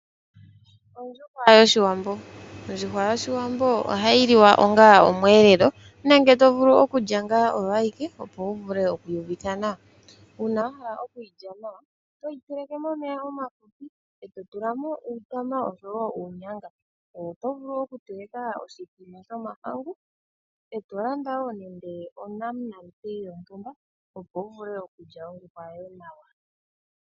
Ondjuhwa yoshiwambo Ondjuhwa yoshiwambo ohayi liwa onga omweelelo nenge to vulu okulya ngaa oyo ayike opo wu vule okwii uvitha nawa. Uuna wa hala okwiilya nawa toyi teleke momeya omafupi e to tulamo uutama oshowo uunyanga. Oto vulu okuteleka oshithima shomahangu eto landa wo nande onamunate yontumba opo wu vule okulya ondjuhwa yoye nawa.